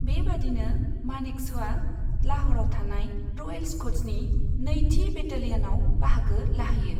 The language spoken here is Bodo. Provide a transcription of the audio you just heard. बेबादिनो मानेकश'आ लाह'रआव थानाय रयेल स्कट्सनि नैथि बेटालियनआव बाहागो लाहैयो।